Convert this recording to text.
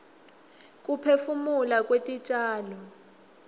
kuphefumula kwetitjalo